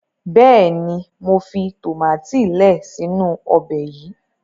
béèni mọ fi tomati lẹẹ si inu Ọbẹ̀ yí.